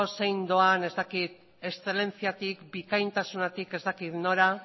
zein doan eszelentziatik bikaintasunetik ez dakit nora